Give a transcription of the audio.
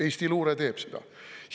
Eesti luure teeb seda.